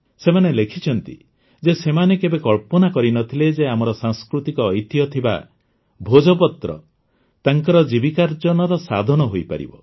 ସେମାନେ ଲେଖିଛନ୍ତି ଯେ ସେମାନେ କେବେ କଳ୍ପନା କରିନଥିଲେ ଯେ ଆମର ସାଂସ୍କୃତିକ ଐତିହ୍ୟ ଥିବା ଭୋଜପତ୍ର ତାଙ୍କର ଜୀବିକାର୍ଜନର ସାଧନ ହୋଇପାରିବ